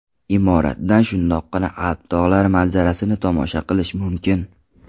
Imoratdan shundoqqina Alp tog‘lari manzarasini tomosha qilish mumkin.